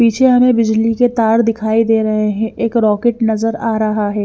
पीछे हमें बिजली के तार दिखाई दे रहे हैं एक रॉकेट नजर आ रहा है।